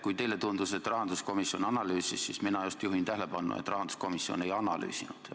Kui teile tundus, et rahanduskomisjon analüüsis, siis mina just juhin tähelepanu, et rahanduskomisjon ei analüüsinud.